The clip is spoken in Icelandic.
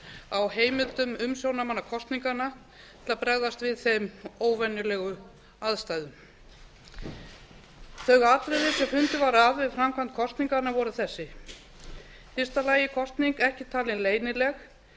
á heimildum umsjónarmanna kosninganna til að bregðast við þeim óvenjulegum aðstæðum þau atriði sem fundið var að við framkvæmd kosninganna voru þessi fyrsta kosning ekki talin leynileg